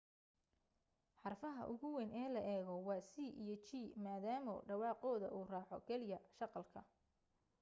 xarfaha ugu weyn ee la eego waa c iyo g maadaamo dhawaaqooda uu raaco keliya shaqalka